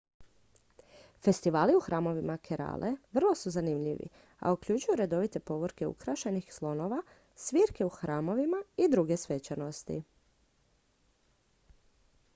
festivali u hramovima kerale vrlo su zanimljivi a uključuju redovite povorke ukrašenih slonova svirke u hramovima i druge svečanosti